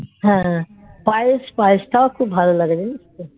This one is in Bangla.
পায়েস পায়েস তাও খুব ভালোলাগে জানিস তো